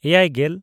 ᱮᱭᱟᱭᱼᱜᱮᱞ